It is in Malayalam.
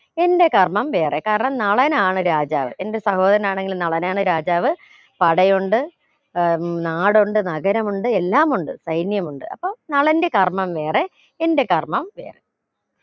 എന്റെ കർമ്മം വേറെ കാരണം നളനാണ് രാജാവ് എന്റെ സഹോദരനാണെങ്കിലും നളനാണ് രാജാവ് പടയുണ്ട് ഏർ നാടുണ്ട് നഗരമുണ്ട് എല്ലാം ഉണ്ട് സൈന്യമുണ്ട് അപ്പൊ നളന്റെ കർമ്മം വേറെ എന്റെ കർമ്മം വേറെ